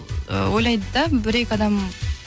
ойлайды да бір екі адам